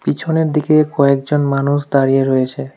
পিছনের দিকে কয়েকজন মানুষ দাঁড়িয়ে রয়েছে।